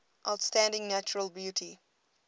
outstanding natural beauty